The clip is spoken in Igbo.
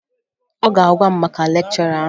Ọ ga-agwa m maka lekchọra ahụ